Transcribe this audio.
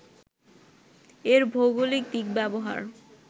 এর ভৌগলিক দিক ব্যবহার